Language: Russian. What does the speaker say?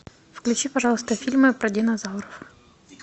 включи пожалуйста фильмы про динозавров